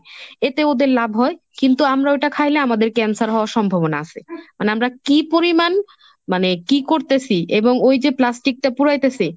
এতে ওদের লাভ হয় কিন্তু আমরা ওটা খাইলে আমাদের ক্যান্সার হওয়ার সম্ভাবনা আছে মানে আমরা কি পরিমান মানে কি করতেছি এবং ওই যে প্লাস্টিকটা পুড়াইতেছে,